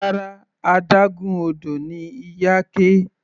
Rárá, adágún odò ni Iyake.